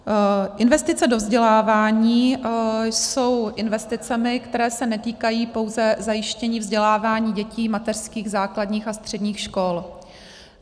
Investice do vzdělávání jsou investicemi, které se netýkají pouze zajištění vzdělávání dětí mateřských, základních a středních škol.